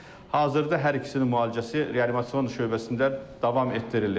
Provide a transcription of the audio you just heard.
Hazırda hər ikisinin müalicəsi reanimasion şöbəsində davam etdirilir.